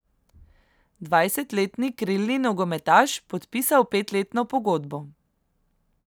Dvajsetletni krilni nogometaš podpisal petletno pogodbo.